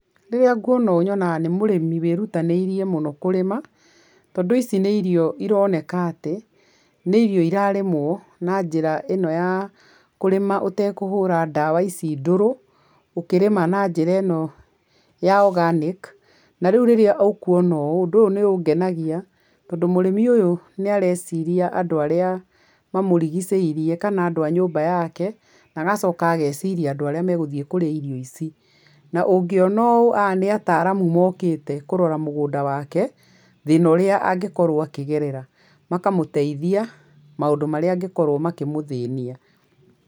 Rĩrĩ nguona ũũ nyonaga nĩ mũrĩmĩ wĩrutanĩrie mũno kũrĩma, tondũ ici nĩ irio ironeka atĩ, nĩ irio irarĩmwo na njĩra ĩno ya kũrĩma ũtekũhũra ndawa ici ndũrũ, ũkĩrĩma na njĩra ĩno ya organic na rĩu rĩrĩ ũkuona ũũ ũndũ ũyũ nĩ ũngenagia, tondũ mũrĩmi ũyũ nĩ areciria andũ arĩa mamũrigicĩrie, kana andũ a nyũmba yako, na agacoka ageciria andũ arĩa megũthiĩ kũrĩa irio ici, na ũngĩona ũũ aya nĩ ataramu mokĩte kũrora mũgũnda wake, thĩna ũrĩa angĩkorwo akĩgerera, makamũteithia maũndũ marĩa mangĩkorwo makĩmũthĩnia.